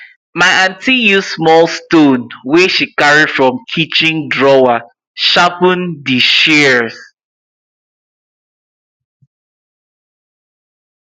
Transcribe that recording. my aunty use small stone wey she carry from kitchen drawer sharpen di shears